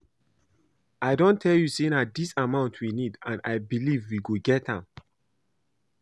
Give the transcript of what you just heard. I don tell you say na dis amount we need and I believe we go get am